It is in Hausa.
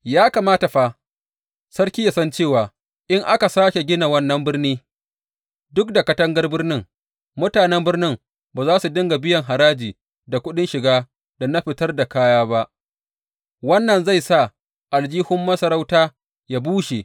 Ya kamata fa, sarki ya san cewa in aka sāke gina wannan birni duk da katangar birnin, mutanen birnin ba za su dinga biyan haraji, da kuɗin shiga, da na fitar da kaya ba, wannan zai sa aljihun masarauta yă bushe.